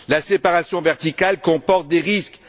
La séparation verticale comporte des risques.